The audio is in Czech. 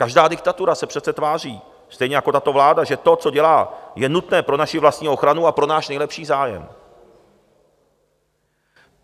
Každá diktatura se přece tváří, stejně jako tato vláda, že to, co dělá, je nutné pro naši vlastní ochranu a pro náš nejlepší zájem.